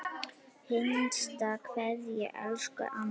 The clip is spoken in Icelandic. HINSTA KVEÐJA Elsku amma.